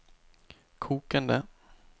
kokende